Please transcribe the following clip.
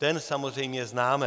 Ten samozřejmě známe.